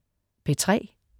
P3: